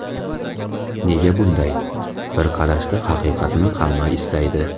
Nega bunday, bir qarashda haqiqatni hamma istaydi?